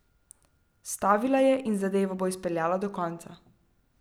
Stavila je in zadevo bo izpeljala do konca.